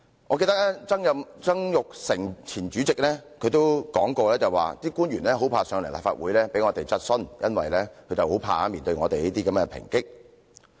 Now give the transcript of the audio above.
我記得立法會前主席曾鈺成說過，官員很怕來立法會接受議員質詢，因為他們害怕面對我們這些抨擊。